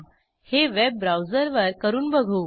हे वेब ब्राऊजरवर करून बघू